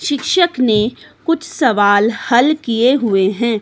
शिक्षक ने कुछ सवाल हल किए हुए हैं।